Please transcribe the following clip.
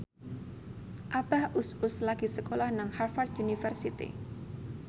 Abah Us Us lagi sekolah nang Harvard university